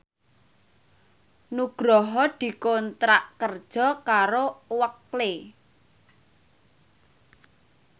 Nugroho dikontrak kerja karo Oakley